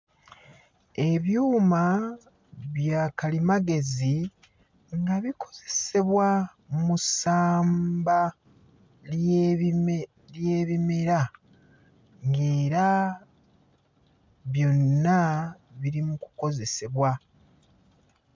Ebyuma bya kalimagezi nga bikozesebwa mu ssamba ly'ebime ly'ebimera ng'era byonna biri mu kukozesebwa.